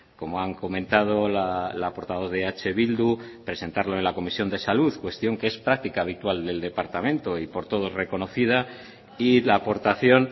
como han comentado la portavoz de eh bildu presentarlo en la comisión de salud cuestión que es práctica habitual del departamento y por todos reconocida y la aportación